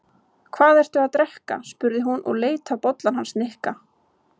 Hvað ertu að drekka? spurði hún og leit á bollann hans Nikka.